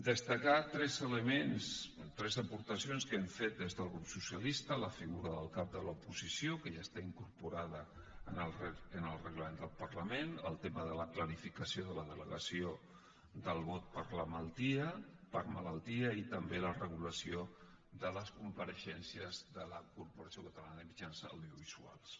destacar tres elements tres aportacions que hem fet des del grup socialista la figura del cap de l’oposició que ja està incorporada en el reglament del parlament el tema de la clarificació de la delegació del vot per malaltia i també la regulació de les compareixences de la corporació catalana de mitjans audiovisuals